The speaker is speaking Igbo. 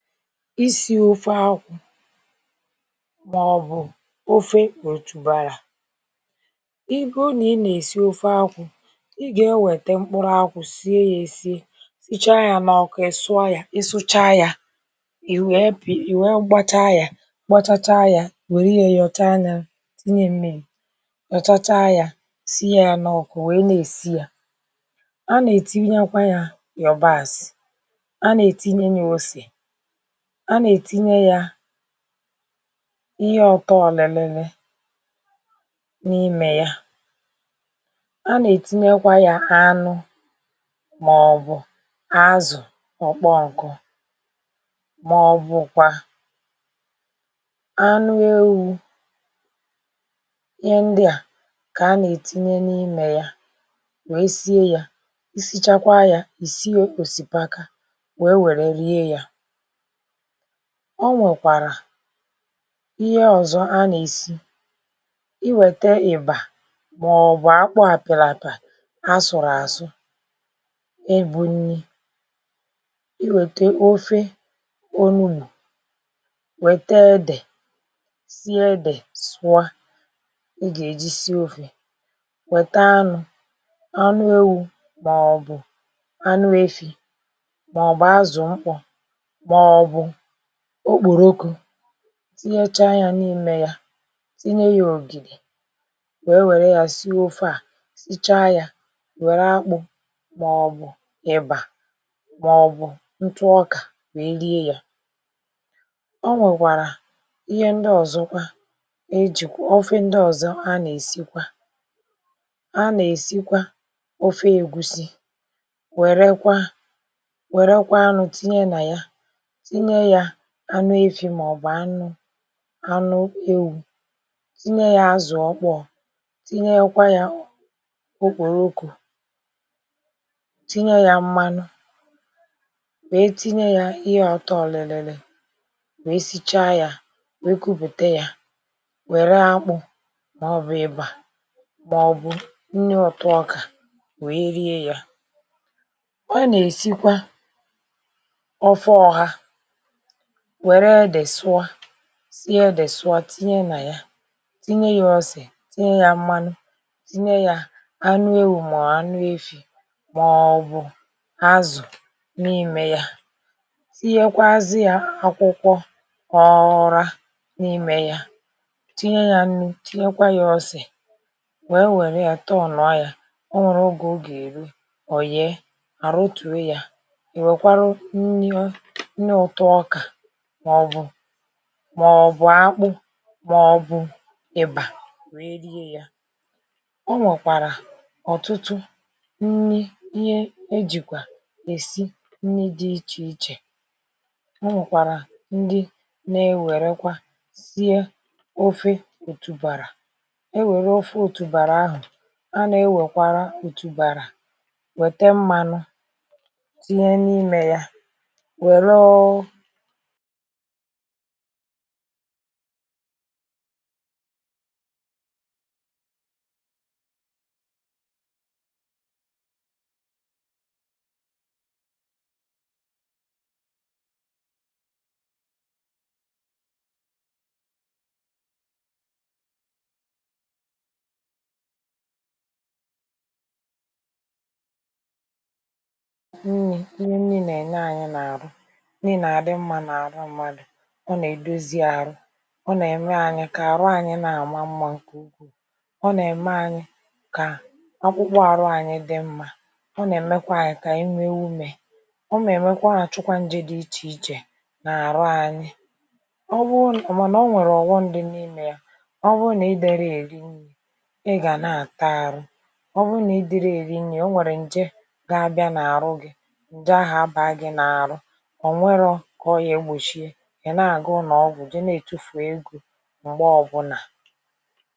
isi̇ ofe akwụ màọbụ̀ ofe ọtùbarà igụ nà i na èsi ofe akwụ ị gà e wète mkpụrụ̇ akwụ sie yȧ èsie sịchaa yȧ n’ọkù ị sụọ yȧ, ị sụchaa yȧ ì wèe gbachaa ya, gbachacha ya, i wère ya yọchaa yȧ tịnye mmiri, yọchacha yȧ, sịnye yȧ n’ọkù wèe nà-èsi yȧ a nà-ètinyekwa yȧ yọ̀bas a nà-ètinye nyȧ osè a nà-ètinye yȧ ihe ọ̀tọọ̇lị̀lị̀ n’imè ya a nà-ètinyekwa yȧ anụ màọ̀bụ̀ azụ̀ ọkpọnkụ màọ̀bụ̀kwa anụ ewu̇ ihe ndị à kà a nà-ètinye n’imè yȧ wèe sie yȧ i sichakwa yȧ ìsie òsìpaka wèe wère rie yȧ o nwèkwàrà ihe ọ̀zọ a nà-èsi i wète ị̀bà màọ̀bụ̀ akpọ àpịràpà asụ̀rụ̀ àsụ ibụ nni i wète ofe onugbụ wète edè sie edè sụọ i gà-èjisie ofè wète anụ̇ anụ ewu̇ màọ̀bụ̀ anụ efi̇ màọ̀bụ̀ azụ̀ mkpọ maọbụ ọkpọrọkọ tinyecha yȧ n’ime yȧ tinye yȧ ògìli wee nwère yȧ si ofe à sichaa yȧ wère akpụ̇ maọ̀bụ̀ ịbà maọ̀bụ̀ ntụ ọkà wèe lie yȧ o nwèkwàrà ihe ndị ọ̀zọ kwa ọfe ndị ọ̀zọ a nà-èsikwa a nà-èsikwa ọfe ègusi wère kwa wère kwa anụ̇ tinye nà ya tinye anụ efi̇ màọ̀bụ̀ anụ anụ ewu̇ tinye yȧ azụ̀ ọkpọ̀ tinye kwa yȧ okporo tinye yȧ mmanụ wèe tinye yȧ ihe ọ̀tọ òlìlìlè wèe sicha yȧ wèe kupùte yȧ wère akpụ̇ mà ọ̀ bụ̀ ịbà mà ọ̀ bụ̀ nnụ ọ̀tụ ọkà wèe rie yȧ ọ nà-èsikwa ọfe ọha wèrè èdè sụọ sie ede sụọ tinye na ya tinye yȧ ọse tinye ya mmanụ tinye yȧ anụ ewù mọ anụ efi̇ màọbụ̀ azụ̀ n’imė yȧ tinyekwa azịà akwụkwọ ọra n’imė ya tinye yȧ nnụ tinyekwa ya ọse wèè wèrè ya tọọ̀nụ̀a ya ọ nwèrè ogè o gà-èrụ ọ̀ ye àrọ tùee ya i wekwarụ nni ṅtụ ọka màọbụ̀ maọbụ akpụ̇ màọbụ̀ ị̀bà weè rie ya o nwèkwàrà ọ̀tụtụ nni ihe ejìkwà èsi nni dị̇ ichè ichè o nwèkwàrà ndị na-ewerekwa sie ofe òtùbàrà ewere ofe òtùbàrà ahụ̀ a na-ewèkwara òtùbàrà wète mmanụ tinye n’imė ya welụ nni ihe nni nà-enye anyị nà-àrụ, nni na adimma na arụ ọ nà-èdozi àrụ, ọ nà-ème kà àrụ anyị̇ na-àma mmȧ ǹkè ụkwụ, ọ nà-ème anyị̇ kà akpụkpụ àrụ anyị̇ dị mmȧ ọ nà-èmekwa anyị̇ kà ànyị wee umė ọ ṅa àchụkwa njė dị ichè ichè nà-àrụ anyị mànà o nwèrè ọ̀ghọm dị n’imė ya ọ bụrụ nà ị darị èri nni ị gà na-àta àrụ ọ bụrụ nà ị dịrị èri nri̇ o nwèrè ǹje gȧabịa n’àrụ gị̇ ǹje ahụ̀ abàgi n’àrụ ọkwerọ ka ọga egbọchi i na aga unọọgwụ je na-etufù egȯ m̀gbè ọbụna.